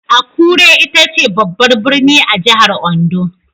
Akure ita ce babbar birni a jihar Ondo.